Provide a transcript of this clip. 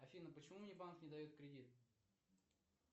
афина почему мне банк не дает кредит